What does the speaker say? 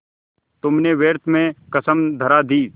तुमने व्यर्थ में कसम धरा दी